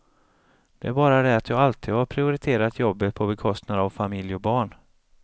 Det är bara det att jag alltid har prioriterat jobbet på bekostnad av familj och barn.